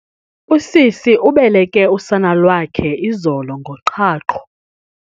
Usisi ubeleke usana lwakhe izolo ngoqhaqho.